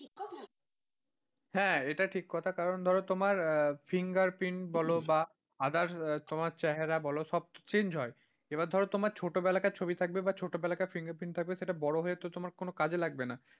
হ্যাঁ এটা ঠিক কথা কারণ ধরো তোমার fingerprint বলো বা others তোমার চেহারা বলো সব তো change হয়। এবার ধরে তোমার ছোটবেলাকার ছবি থাকবে বা ছোটবেলাকার fingerprint থাকবে সেটা বড় হয়ে তো তোমার কোন কাজে লাগবে না।